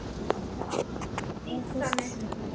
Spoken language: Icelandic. Þá var Halli Halli litli.